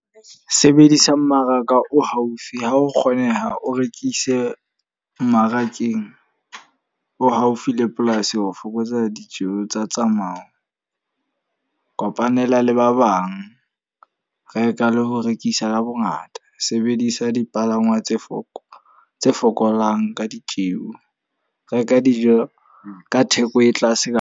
Sebedisa mmaraka o haufi. Ha ho kgoneha, o rekise mmarakeng o haufi le polasi ho fokotsa ditjeho tsa tsamayo. Kopanela le ba bang. Reka le ho rekisa ka bo ngata. Sebedisa dipalangwa tse foko tse fokolang ka ditjeho. Reka dijo ka theko e tlase